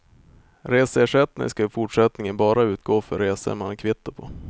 Reseersättning ska i fortsättningen bara utgå för resor man har kvitto på.